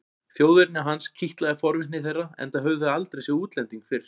Þjóðerni hans kitlaði forvitni þeirra enda höfðu þau aldrei séð útlending fyrr.